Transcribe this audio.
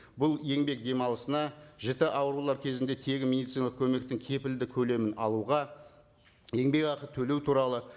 бұл еңбек демалысына жіті аурулар кезінде тегін медициналық көмектің кепілді көлемін алуға еңбекақы төлеу туралы